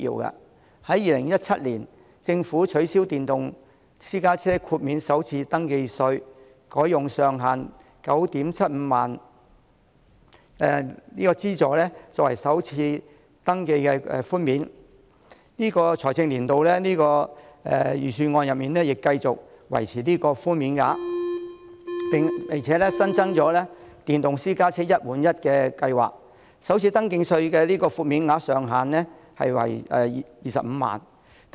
政府在2017年取消電動私家車豁免首次登記稅，改用上限 97,500 元的資助作為首次登記寬減，本年度財政預算案亦繼續維持此寬減額，並且新增了電動私家車"一換一"計劃，首次登記寬減額上限為25萬元。